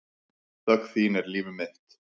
Þögn þín er líf mitt.